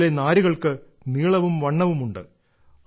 അതിലെ നാരുകൾക്ക് നീളവും വണ്ണവും ഉണ്ട്